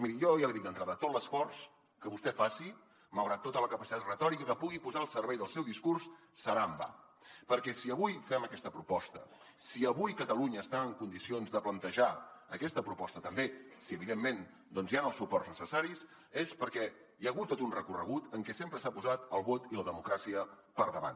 miri jo ja l’hi dic d’entrada tot l’esforç que vostè faci malgrat tota la capacitat retòrica que pugui posar al servei del seu discurs serà en va perquè si avui fem aquesta proposta si avui catalunya està en condicions de plantejar aquesta proposta també si evidentment doncs hi han els suports necessaris és perquè hi ha hagut tot un recorregut en què sempre s’han posat el vot i la democràcia per davant